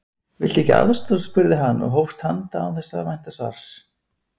Viltu ekki aðstoð? spurði hann og hófst handa án þess að vænta svars.